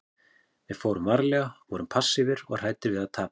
Við fórum varlega, vorum passífir og hræddir við að tapa.